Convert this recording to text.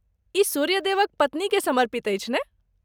ई सूर्य देवक पत्नी केँ समर्पित अछि ने?